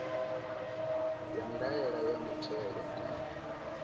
ya ndaela ya muthelo ndi